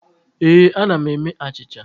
Ee, ana m eme achịcha.